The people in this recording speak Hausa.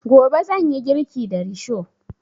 Gobe zan yi girki da risho